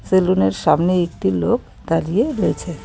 সেলুনের সামনে একটি লোক দাঁড়িয়ে রয়েছে.